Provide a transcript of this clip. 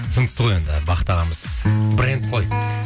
түсінікті ғой енді бақыт ағамыз бренд ғой